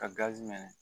Ka gazi minɛ